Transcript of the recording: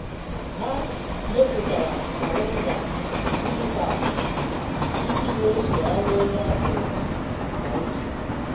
ha mepụtara kalenda dijitalụ iji n'eso ọlụ onye ọ um bụla kwa izu.